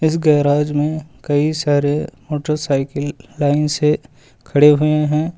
इस गेराज में कई सारे मोटरसाइकिल लाइन से खड़े हुए हैं।